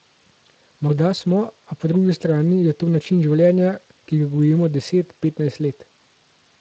Morda smo, a po drugi strani je to način življenja, ki ga gojimo deset, petnajst let.